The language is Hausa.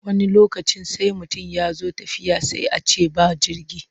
Wani lokacin sai mutum ya zo tafiya sai a ce ba jirgi.